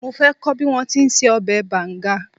Mo fẹ́ kọ́ bí wọ́n ti ń se ọbẹ̀ banga